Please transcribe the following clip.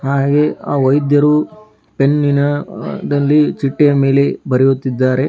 ಹಾಗೆ ಆ ವೈದ್ಯರು ಪೆನ್ನಿನ ದಲ್ಲಿ ಚಿಟ್ಟಿಯ ಮೇಲೆ ಬರೆಯುತ್ತಿದ್ದಾರೆ.